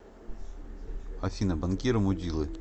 афина банкиры мудилы